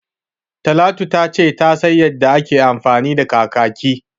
Talatu ta ce ta san yanda ake amfani da kakaki